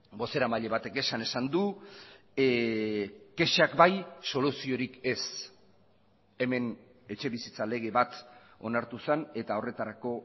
bozeramaile batek esan esan du kexak bai soluziorik ez hemen etxebizitza lege bat onartu zen eta horretarako